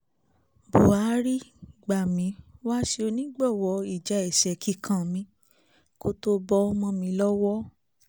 buhari gbà mí wá ṣe onígbọ̀wọ́ ìjà ẹsẹ kíkàn mi kó tó bọ́ mọ́ mi lọ́wọ́